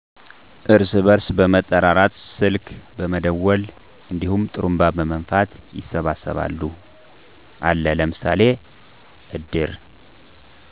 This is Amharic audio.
እርስ በርስ በመጠራራት ስልክ በመደወል እንዲሁም ጥሩንባ በመንፋት ይሰበሰባሉ። አለ ለምሳሌ እድር